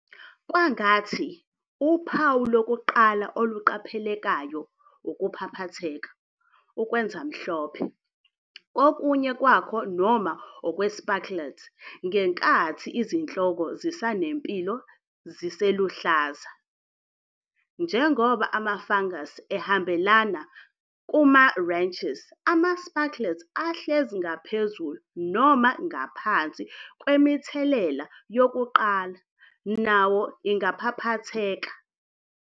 Kwangathi, uphawu lokuqala oluqaphelekayo ukuphaphatheka, ukwenza mhlophe, kokunye kwakho noma okwe-spikelets ngenkathi izinhloko zisanempilo ziseluhlaza. Njengoba ama-fungus ehambela kuma-rachis, ama-spikelets ahlezi ngaphezulu noma ngaphansi kwemithelela yokuqala nawo ingaphaphatheka.